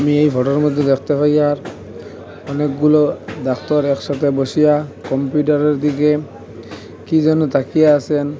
আমি এই ফটোর মদ্যে দেখতে পাই আর অনেকগুলো ডাক্তার একসাথে বসিয়া কম্পিউটারের দিকে কি যেন তাকিয়ে আসেন।